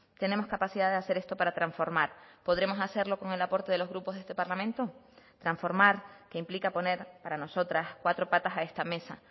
tenemos capacidad de hacer esto para transformar podremos hacerlo con el aporte de los grupos de este parlamento transformar que implica poner para nosotras cuatro patas a esta mesa